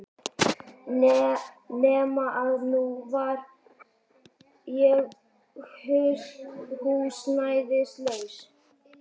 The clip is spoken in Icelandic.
Nema að nú var ég húsnæðislaus.